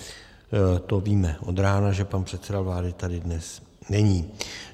To víme od rána, že pan předseda vlády tady dnes není.